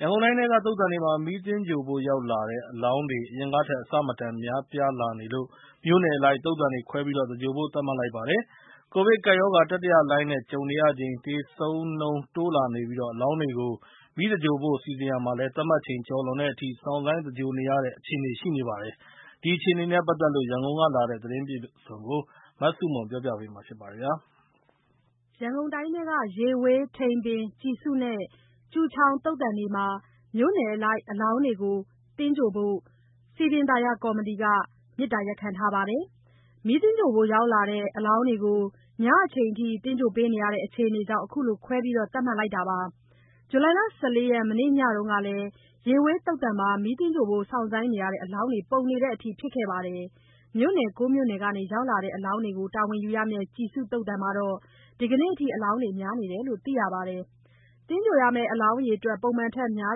ရန်ကုန်တိုင်းထဲက သုသာန်တွေမှာ မီးသဂြိုၤလ်ဖို့ ရောက်လာတဲ့အလောင်းတွေ အရင်ကထက် အဆမတန် များလာနေလို့ မြို့နယ်အလိုက် သုသာန်တွေခွဲပြီး သဂြိုၤလ်ဖို့ သတ်မှတ်လိုက်ပါတယ်။ ကိုဗစ်ကပ်ရောဂါ တတိယလှိုင်းနဲ့ ကြုံနေရချိန် သေဆုံးနှုန်းတိုးလာနေပြီး အလောင်းတွေကို မီးသဂြိုၤလ်ဖို့ စီစဉ်ရာမှာလည်း သတ်မှတ်ချိန်ကျော်လွန်တဲ့အထိ စောင့်ဆိုင်းသဂြိုၤလ်နေရတဲ့ အခြေအနေရှိနေပါတယ်။ ဒီအခြေအနေနဲ့ပတ်သက်လို့ ရန်ကုန်ကလာတဲ့ သတင်းအပြည့်အစုံကို မဆုမွန်ကပြောပြပါမယ်။ ရန်ကုန်တိုင်းထဲက ရေဝေး၊ ထိန်ပင်၊ ကျီစုနဲ့ ကျူချောင် သုသာန်တွေမှာ မြို့နယ်အလိုက် အလောင်းတွေကိုသဂြိုၤလ်ဖို့ စည်ပင်သာယာကော်မတီက မေတ္တာရပ်ခံထားပါတယ်။ မီးသဂြိုၤလ်ဖို့ရောက်လာတဲ့ အလောင်းတွေကို ညအချိန်ထိ သဂြိုၤလ်နေရတဲ့ အခြေအနေကြောင့် အခုလို ခွဲပြီးသတ်မှတ်လိုက်တာပါ။ ဇူလိုင် ၁၄ ရက်၊ မနေ့ညတုန်းက ရေဝေးသုသာန်မှာ မီးသဂြိုၤလ်ဖို့ စောင့်ဆိုင်းနေရတဲ့အလောင်းတွေ ပုံနေတဲ့အထိ ဖြစ်ခဲ့ပါတယ်။ မြို့နယ် ၉ မြို့နယ်ကနေ ရောက်လာတဲ့အလောင်းတွေကို တာဝန်ယူရမယ့် ကျီစုသုသာန်မှာတော့ ဒီကနေ့အထိ အလောင်းတွေ များနေတယ်လို့ သိရပါတယ်။ သဂြိုၤလ်ရမယ့် အလောင်းအရေအတွက် ပုံမှန်ထက် များ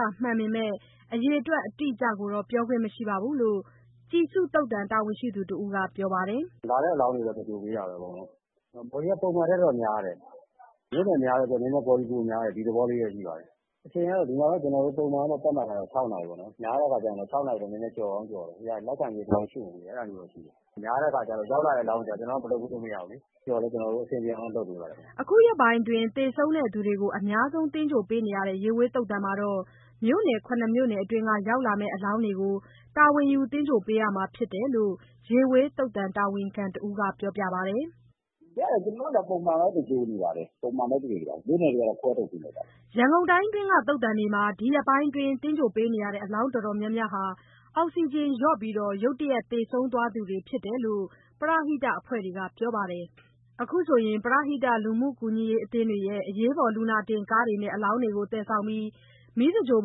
တာမှန်ပေမဲ့ အရေအတွက်အတိအကျကိုတော့ ပြောပိုင်ခွင့်မရှိဘူးလို့ ကျီစုသုသာန် တာဝန်ရှိသူတဦးက ပြောပါတယ်။ "လာတဲ့ အလောင်းတွေကိုတော့ ကျနော်တို့က အကုန်လုံး သဂြိုၤလ်ပေးတာပဲ။ Body က ပုံမှန်ထက်တော့ များတယ်၊ မြို့နယ်များတဲ့အတွက် Body များတဲ့ သဘောရှိပါတယ်။ အချိန်ကတော့ ပုံမှန်သတ်မှတ်ထားတာ ညနေ ၆ နာရီပေါ့နော်။ များတဲ့အခါကျတော့ ၆ နာရီ ကျော်သွားတာတွေရှိတယ်။ များတဲ့အခါကျတော့ ရောက်လာတဲ့အလောင်းတွေကို ကျနော်တို့မလုပ်ပေးလို့ မရဘူးလေ။ အချိန်ကျော်လည်း ကျနော်တို့ အဆင်ပြေအောင်တော့ လုပ်ပေးပါတယ်ခင်ဗျ။" အခုရက်ပိုင်းအတွင်း သေဆုံးသူတွေကို အများဆုံးသဂြိုၤလ်ပေးနေရတဲ့ ရေဝေးသုသာန်မှာတော့ မြို့နယ် ၇ မြို့နယ်အတွင်းက ရောက်လာမယ့်အလောင်းတွေကို တာဝန်ယူ သဂြိုၤလ်ပေးရမှာ ဖြစ်တယ်လို့ ရေဝေးသုသာန်တာဝန်ခံတဦးက ပြောပါတယ်။ "ကျနော်တို့ဆီမှာ ပုံမှန်ပဲ သဂြိုၤလ်နေပါတယ်။ မြို့နယ်တွေကတော့ ခွဲထုတ်ပေးလိုက်ပါပြီ။" ရန်ကုန်တိုင်းအတွင်းက သုသာန်တွေမှာ ဒီရက်ပိုင်းအတွင်း သဂြိုၤလ်ပေးနေရတဲ့ အလောင်းတော်တော်များများဟာ အောက်စီဂျင်လျော့ပြီး ရုတ်တရက်သေဆုံးသွားသူတွေ ဖြစ်တယ်လို့ ပရဟိတအဖွဲ့တွေက ပြောပါတယ်။ အခုဆိုရင် ပရဟိတ လူမှုကူညီရေးအသင်းတွေရဲ့ အရေးပေါ်လူနာတင်ကားတွေနဲ့ အလောင်းတွေကို သယ်ဆောင်ပြီး မီးသင်္ဂြိုလ်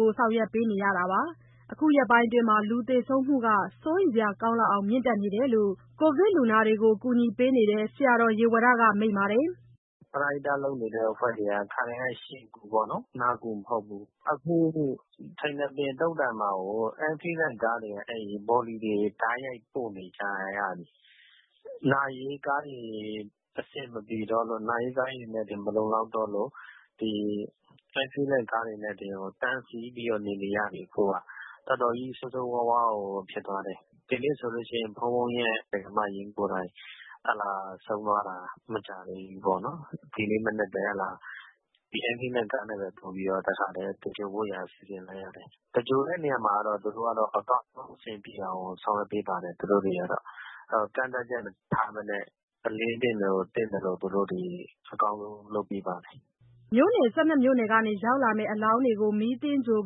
ဖို့ ဆောင်ရွက်ပေးနေရတာပါ။ အခုရက်ပိုင်းအတွင်း လူသေဆုံးနှုန်းက စိုးရိမ်စရာကောင်းအောင် မြင့်နေတယ်လို့ ကိုဗစ်လူနာတွေကို ကူညီပေးနေတဲ့ ဆရာတော် ဦးရေဝတ မိန့်ပါတယ်။ "ပရဟိတလုပ်နေတဲ့ အဖွဲ့တွေက ခါတိုင်းက ရှင်ကူပေါ့နော်၊ နာကူမဟုတ်ဘူး။ အခု ထိန်ပင်သုဿန်မှာကို Ambulance ကားတွေက Body တွေ တိုက်ရိုက်ပို့နေကြရပြီ။ နာရေးကားတွေ အဆင်မပြေတော့လို့၊ နာရေးကားတွေနဲ့တင် မလုံလောက်တော့လို့ ဒီ Ambulance ကားတွေနဲ့ကို အခုကတန်းစီပြီး နေနေရပြီ။ တော်တော်ကြီး ဆိုးဆိုးရွားရွားကို ဖြစ်သွားတယ်။ ဒီနေ့ဆိုရင် ဘုန်းဘုန်းရဲ့ ဒါယိကာမအရင်းကိုယ်တိုင် ဆုံးသွားတာမကြာသေးဘူး။ ဒီနေ့မနက်ပဲ Ambulance ကားနဲ့ ပို့ပြီးတော့ တခါတည်းသင်္ဂြိုလ်ဖို့ရန် စီစဉ်လိုက်ရတယ်။ သင်္ဂြိုလ်တဲ့နေရာမှာတော့ သူတို့ကအစအဆုံး အဆင်ပြေအောင် စီစဉ်ပေးပါတယ်။ ကန့်သတ်ချက်မထားဘဲနဲ့ အလျဉ်းသင့်ရင် သင့်သလို သူတို့အကောင်းဆုံးလုပ်ပေးပါတယ်။" မြို့နယ် ၁၂ မြို့နယ်ကနေ ရောက်လာမယ့် အလောင်းတွေကို မီးသင်္ဂြိုလ်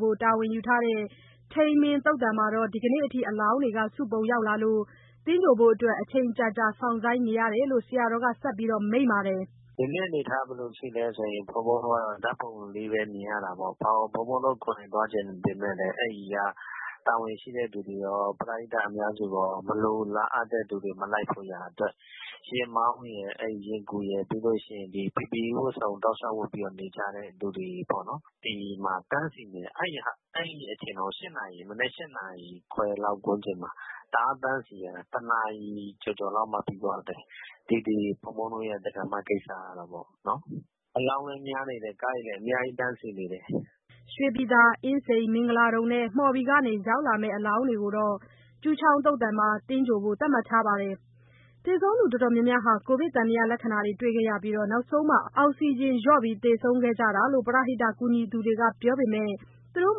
ဖို့ တာဝန်ယူထားတဲ့ ထိန်ပင်သုသာန်မှာတော့ ဒီကနေ့အထိ အလောင်းတွေ စုပုံရောက်လာနေလို့ သင်္ဂြိုလ်ဖို့အတွက် အချိန်ကြာကြာစောင့်ဆိုင်းနေရတယ်လို့ ဆရာတော်က ဆက်ပြီးမိန့်ပါတယ်။ "ဒီနေ့အနေအထားက ဘယ်လိုရှိလဲဆိုရင် ဘုန်းဘုန်းတို့ကတော့ ဓာတ်ပုံလေးပဲမြင်ရတာပေါ့။ ဘုန်းဘုန်းတို့ ကိုယ်တိုင် သွားချင်ပေမဲ့လည်း အဲဒီကတာဝန်ရှိတဲ့သူတွေရော၊ ပရဟိတအများစုရော မလိုလားအပ်တဲ့လူတွေ အများကြီးမလိုက်ဖို့ရန်အတွက် ယာဉ်မောင်းရယ်၊ ယာဉ်ကူရယ်၊ PPE ဝတ်စုံ တောက်လျှောက် ဝတ်နေကြတဲ့သူတွေပေါ့နော်၊ သူတို့တွေ တန်းစီနေရတာ။ အဲဒီအချိန်တောင် မနက် ၈ နာရီခွဲလောက်ဝန်းကျင်မှာ တအားတန်းစီရတာ နေ့လည် ၁ နာရီကျော်ကျော်လောက်မှ ပြီးသွားတော့တယ်။ ဒီ ဘုန်းဘုန်းတို့ရဲ့ ဒါယိကာမကိစ္စကတော့။ ဒီနေ့ ထိန်ပင်သုဿန်မှာတော့ အလောင်းလည်းတန်းစီနေတယ်။ ကားတွေလည်း အများကြီးတန်းစီနေတယ်။" ရွှေပြည်သာ၊ အင်းစိန်၊ မင်္ဂလာဒုံနဲ့ မှော်ဘီကနေ ရောက်လာမယ့်အလောင်းတွေကိုတော့ ကျူချောင်သုသာန်မှာ သင်္ဂြိုလ်ဖို့သတ်မှတ်ထားပါတယ်။ သေဆုံးသူ တော်တော်များများမှာ ကိုဗစ်သံသယလက္ခဏာတွေ တွေ့ခဲ့ရပြီး နောက်ဆုံးမှာ အောက်စီဂျင်လျော့ပြီး သေဆုံးခဲ့ကြတာလို့ ပရဟိတ ကူညီသူတွေက ပြောပေမဲ့ သူတို့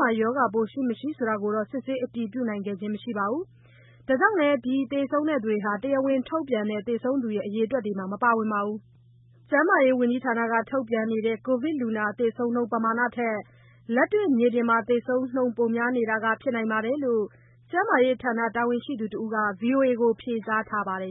မှာ ရောဂါပိုး ရှိ၊ မရှိဆိုတာကိုတော့ စစ်ဆေး အတည်ပြုနိုင်တာမျိုး မရှိခဲ့ပါဘူး။ ဒါကြောင့်လည်း ဒီသေဆုံးသူတွေဟာ တရားဝင်ထုတ်ပြန်တဲ့ သေဆုံးသူအရေအတွက်ထဲမှာ မပါဝင်ပါဘူး။ ကျန်းမာရေးဝန်ကြီးဌာနက ထုတ်ပြန်နေတဲ့ ကိုဗစ်လူနာ သေဆုံးနှုန်း ပမာဏထက် လက်တွေ့မြေပြင်မှာ သေဆုံးနှုန်း ပိုများနေတာက ဖြစ်နိုင်တယ်လို့ ကျန်းမာရေးဌာနတာဝန်ရှိသူတဦးက ဗွီအိုအေကိုဖြေကြားထားပါတယ်